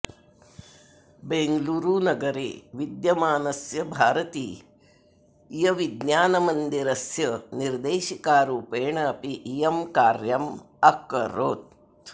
बेङ्गलूरुनगरे विद्यमानस्य भारतीयविज्ञानमन्दिरस्य निर्देशिकारूपेण अपि इयं कार्यम् अकरोत्